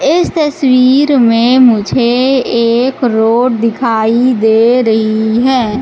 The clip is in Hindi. इस तस्वीर में मुझे एक रोड दिखाई दे रही हैं।